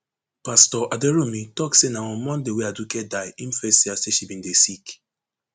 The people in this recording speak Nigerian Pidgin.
pastor aderounmu tok say na on monday wey aduke die im first hear say she bin dey sick